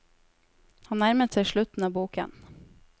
Han nærmet seg slutten av boken.